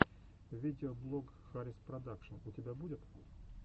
видеоблог хариспродакшн у тебя будет